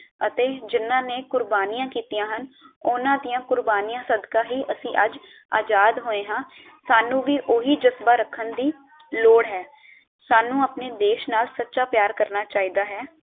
ਅਤੇ ਜਿੰਨਾ ਨੇ ਕੁਰਬਾਨੀਆਂ ਕੀਤੀਆਂ ਹਨ ਉਨ੍ਹਾਂ ਦੀਆਂ ਕੁਰਬਾਨੀਆਂ ਸਦਕਾ ਹੀ ਅਸੀਂ ਅੱਜ ਆਜ਼ਾਦ ਹੋਏ ਹਾਂ ਸਾਨੂ ਵੀ ਓਹੀ ਜਜ਼ਬਾ ਰੱਖਣ ਦੀ ਲੋੜ ਹੈ ਸਾਨੂੰ ਆਪਣੇ ਦੇਸ਼ ਨਾਲ ਸੱਚਾ ਪਿਆਰ ਕਰਨਾ ਚਾਹੀਦਾ ਹੈ